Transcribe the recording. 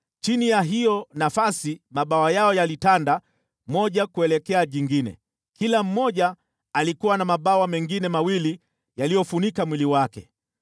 Chini ya hiyo nafasi mabawa yao yalitanda moja kuelekea jingine, kila mmoja alikuwa na mabawa mengine mawili yaliyofunika mwili wake.